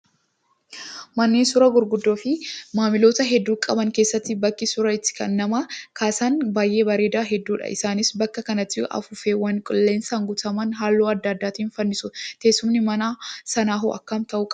Manneen suuraa gurguddoo fi maamiloota hedduu qaban keessatti bakki suuraa itti nama kaasan kan baay'ee bareedan hedduudha. Isaanis bakka kanatti afuuffeewwan qilleensaan guutaman hallauu adda addaatiin fannisu. Teessumni mana sanaa hoo akkam ta'uu qabaa?